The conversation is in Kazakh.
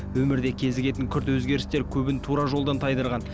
өмірде кезігетін күрт өзгерістер көбін тура жолдан тайдырған